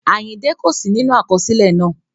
Àyìndẹ́ kò sí nínú àkọsílẹ̀ náà